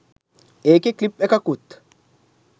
ඒකේ ක්ලිප් එකකුත්